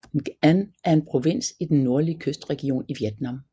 Nghệ An er en provins i den nordlige kystregion i Vietnam